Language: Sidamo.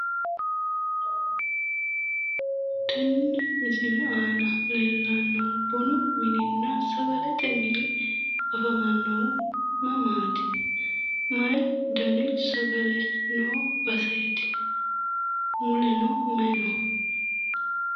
tenne misile aana leellanohu bununna sagalete mini afamannohu mamaati? mayii dani sagale noo baseeti? muleno mayi no?